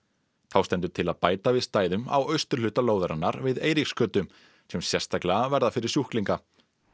þá stendur til að bæta við stæðum á austurhluta lóðarinnar við Eiríksgötu sem sérstaklega verða fyrir sjúklinga